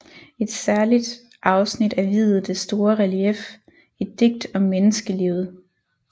Et særligt afsnit er viet det store relief Et digt om menneskelivet